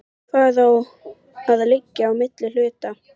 Hvað á að liggja á milli hluta?